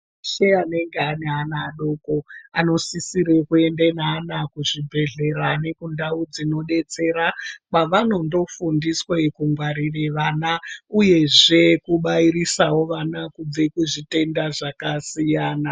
Veshe anenge ane vana adoko anosisire kuende neana kuzvibhedhlera nekundau dzinodetsera kwavanondo fundiswe kungwarire vana uyezve kubairise vana kubve kuzvitenda zvakasiyana.